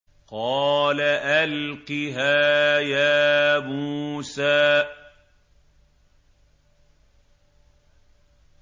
قَالَ أَلْقِهَا يَا مُوسَىٰ